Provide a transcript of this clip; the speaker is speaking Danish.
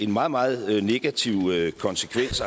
meget meget negativ konsekvens